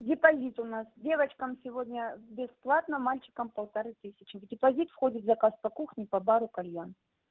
депозит у нас девочкам сегодня бесплатно мальчикам полторы тысячи в депозит входит заказ по кухне по бару кальян